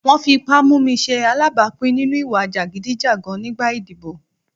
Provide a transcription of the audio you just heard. Wọ́n fi ipá mú mi ṣe alábàápín nínú ìwà jàgídíjàgan nígbà ìdìbò.